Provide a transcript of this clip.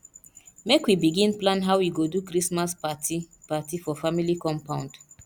make we begin plan how we go do christmas party party for family compound